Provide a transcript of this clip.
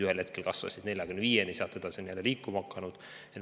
Ühel hetkel kasvasid toetused 45 euroni ja sealt edasi on need jälle liikuma hakanud.